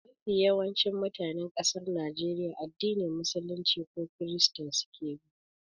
Mafi yawancin mutanen ƙasar Najeriya addinin musulunci ko krista suke bi.